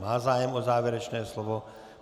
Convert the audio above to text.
Má zájem o závěrečné slovo.